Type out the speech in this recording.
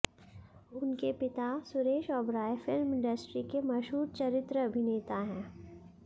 उनके पिता Suresh Oberoi film industry के मशहूर चरित्र अभिनेता हैं